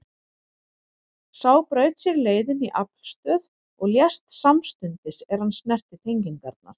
Sá braut sér leið inn í aflstöð og lést samstundis er hann snerti tengingarnar.